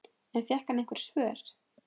En fékk hann einhver svör?